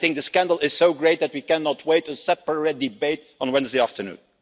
I think the scandal is so great that we cannot wait for a separate debate on Wednesday afternoon.